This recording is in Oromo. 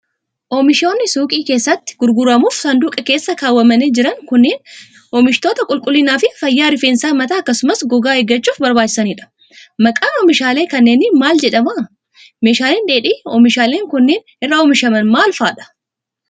Oomishoonni suuqii keessatti gurguramuuf saanduqa keessa kaawwamanii jiran kunneen, oomishoota qulqullinaa fi fayyaa rifeensa mataa akkasumas gogaa eeggachuuf barbaachisanii dha. Maqaan oomishaalee kanneenii maal jedhama? Meeshaaleen dheedhii, oomishaaleen kunneen irraa oomishaman maal faa dha?